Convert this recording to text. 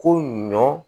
Ko ɲɔ